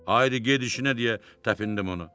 Ayri gedişinə deyə təpindim ona.